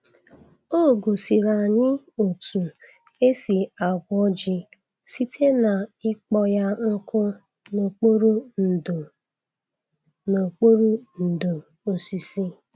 O gosiri anyị otu esi agwọ ji site n'ịkpọ ya nkụ n'okpuru ndò n'okpuru ndò osisi.